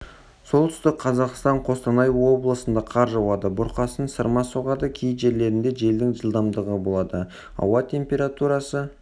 солтүстік қазақстан қостанай облысында қар жауады бұрқасын сырма соғады кей жерлерінде желдің жылдамдығы болады ауа температурасы